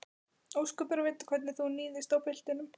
Ósköp er að vita hvernig þú níðist á piltinum.